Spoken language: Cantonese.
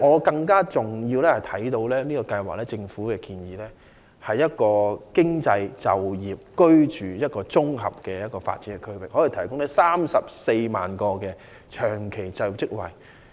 更重要的是，政府建議的計劃是集經濟、就業和居住於一身的綜合發展區，可以提供34萬個長期就業職位。